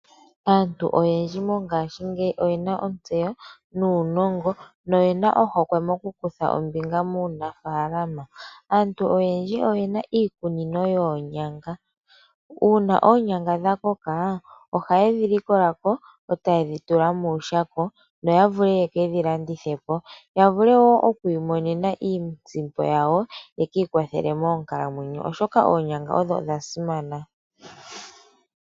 Aantu oyendji mongashingeyi oyena ontseyo nuunongo noyena ohokwe mokukutha ombinga muunafaalama. Aantu oyendji oye na iikunino yoonyanga. Uuna oonyanga dha koko oha ye dhi likola ko e ta ye dhi tula muushako yo ye ke dhi landithe po, ya vule wo oku imonena iisimpo yawo ye kwiikwathele moonkaamwenyo oshoka oonyanga odha simana.